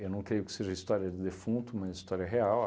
Eu não creio que seja história de defunto, uma história real.